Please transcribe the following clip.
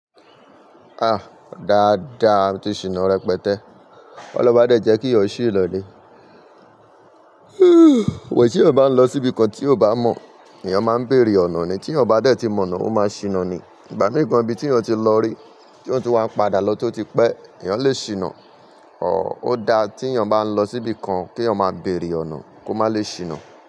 Ah! Daáda, tí ṣìnà rẹpẹtẹ. Kí ọlọ́run máa dẹ̀ jẹ́ kí ó ṣì lọlé. Wò, tí ènìyàn bá ń lọ síbi kan tí ò bá mọ̀, èèyàn máa ń bèrè ọ̀nà ni. Tí ọba dé tí mọ̀nà, ó máa ṣìnà ni. Ìgbà mìí gàn ibí tí èèyàn ti lọ rí, tí ó ń tún wa padà lọ tí ó ti pẹ́, èèyàn lè ṣìnà. Ó dáa tí èèyàn bá ń lọ síbi kan kí èèyàn má bèrè ọ̀nà kó má lè ṣìnà.